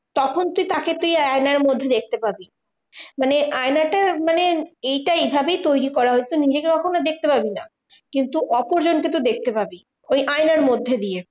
তখন তুই তাকে তুই আয়নার মধ্যে দেখতে পাবি। মানে আয়নাটা মানে এইটা এইভাবেই তৈরী করা হয়েছে নিজেকে কখনও দেখতে পাবি না, কিন্তু অপরজনকে তুই দেখতে পাবি ওই আয়নার মধ্যে দিয়ে।